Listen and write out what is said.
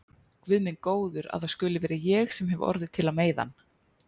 Guð minn góður að það skuli vera ég sem hef orðið til að meiða hann.